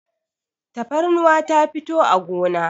tafarnuwa ta fito a gona